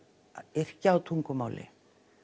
yrkja á tungumáli